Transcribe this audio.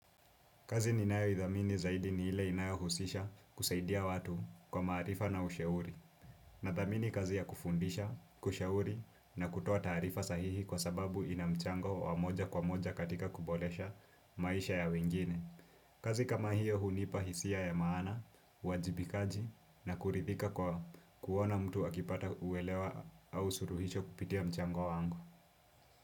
Kazi ninayo idhamini zaidi ni hile inayohusisha kusaidia watu kwa marifa na usheuri. Na thamini kazi ya kufundisha, kushauri na kutoa tarifa sahihi kwa sababu inamchango wamoja kwa moja katika kubolesha maisha ya wengine. Kazi kama hiyo hunipa hisia ya maana, wajibikaji na kurithika kwa kuona mtu akipata uwelewa au suruhicho kupitia mchango wangu.